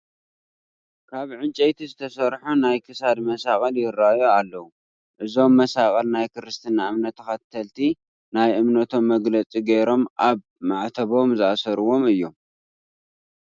ካብ እንጨይቲ ዝተሰርሑ ናይ ክሳድ መሳቕል ይርአዩ ኣለዉ፡፡ እዞም መሳቕል ናይ ክርስትና እምነት ተኸተልቲ ናይ እምነቶም መግለፂ ገይሮም ኣብ ማዕተቦም ዝኣስርዎም እዮም፡፡